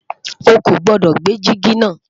ọ kò gbodò gbé jìgì na